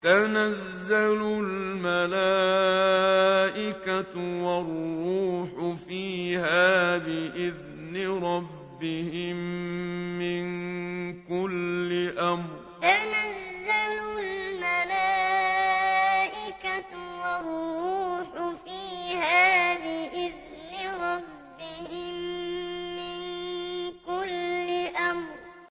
تَنَزَّلُ الْمَلَائِكَةُ وَالرُّوحُ فِيهَا بِإِذْنِ رَبِّهِم مِّن كُلِّ أَمْرٍ تَنَزَّلُ الْمَلَائِكَةُ وَالرُّوحُ فِيهَا بِإِذْنِ رَبِّهِم مِّن كُلِّ أَمْرٍ